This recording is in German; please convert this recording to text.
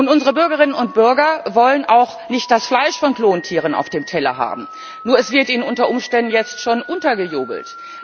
Unsere Bürgerinnen und Bürger wollen auch nicht das Fleisch von Klontieren auf dem Teller haben. Nur wird es ihnen unter Umständen jetzt schon untergejubelt.